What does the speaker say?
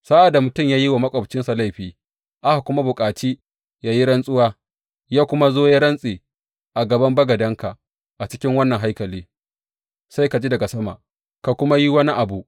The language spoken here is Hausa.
Sa’ad da mutum ya yi wa maƙwabcinsa laifi aka kuma bukaci ya yi rantsuwa, ya kuma zo ya rantse a gaban bagadenka a cikin wannan haikali, sai ka ji daga sama ka kuma yi wani abu.